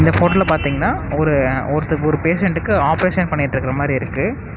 இந்த ஃபோட்டோல பாதிங்னா ஒரு ஒருத்தர் ஒரு பேசன்ட்டுக்கு ஆபரேசன் பண்ணிட்ருக்குற மாறியிருக்கு.